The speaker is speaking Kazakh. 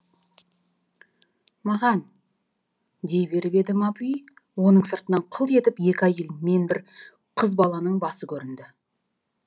маған дей беріп еді мапуи оның сыртынан қылт етіп екі әйел мен бір қыз баланың басы көрінді